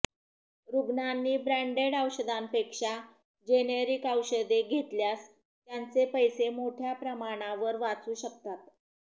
रुग्णांनी ब्रॅंडेड औषधांपेक्षा जेनेरिक औषधे घेतल्यास त्यांचे पैसे मोठ्या प्रमाणावर वाचू शकतात